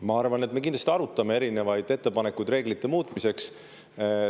Ma arvan, et me kindlasti arutame erinevaid ettepanekuid reeglite muutmiseks.